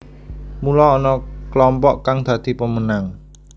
Mula ana klompok kang dadi pemenang